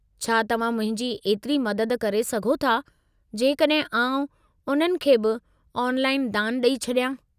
छा तव्हां मुंहिंजी एतिरी मददु करे सघो था जेकॾहिं आउं उन्हनि खे बि ऑनलाइन दानु ॾेई छॾियां?